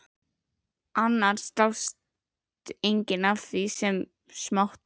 Annars dáist enginn að því sem smátt er.